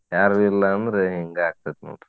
ಯಾರು ಇಲ್ಲಾ ಅಂದ್ರ ಹಿಂಗ ಆಗ್ತೈತಿ ನೋಡ್ರಿ.